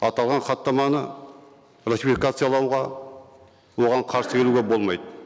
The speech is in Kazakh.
аталған хаттаманы ратификациялауға оған қарсы келуге болмайды